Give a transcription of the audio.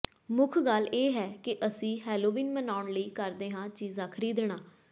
ਮੁੱਖ ਗੱਲ ਇਹ ਹੈ ਕਿ ਅਸੀਂ ਹੈਲੋਵੀਨ ਮਨਾਉਣ ਲਈ ਕਰਦੇ ਹਾਂ ਚੀਜ਼ਾਂ ਖਰੀਦਣਾ